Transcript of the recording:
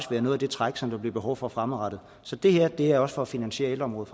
være noget af det træk som der bliver behov for fremadrettet så det her er også for at finansiere ældreområdet